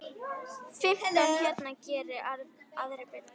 Fimmtán hérna, geri aðrir betur!